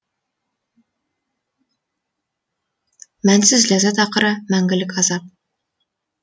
мәнсіз ләззат ақыры мәңгілік азап